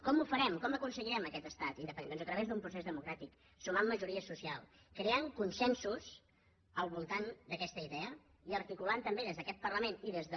com ho farem com aconseguirem aquest estat independent doncs a través d’un procés democràtic sumant majories socials creant consensos al voltant d’aquesta idea i articulant també des d’aquest parlament i des de